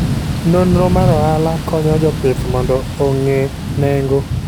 Nonro mar ohala konyo jopith mondo ong'e nengo.